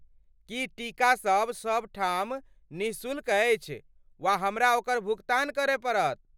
की टीकासब सभ ठाम निःशुल्क अछि वा हमरा ओकर भुगतान करय पड़त?